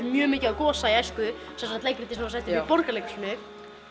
mjög mikið á Gosa í æsku sem sagt leikritið sem var sett upp í Borgarleikhúsinu